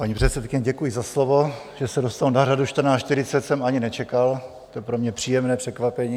Paní předsedkyně, děkuji za slovo, že se dostanu na řadu 14.40 jsem ani nečekal, to je pro mě příjemné překvapení.